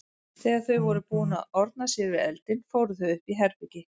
Þegar þau voru búin að orna sér við eldinn fóru þau upp í herbergi.